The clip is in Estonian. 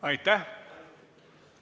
Aitäh!